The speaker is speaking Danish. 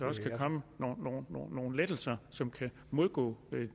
også kan komme nogle lettelser som kan imødegå